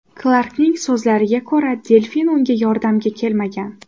Klarkning so‘zlariga ko‘ra, delfin unga yordamga kelmagan.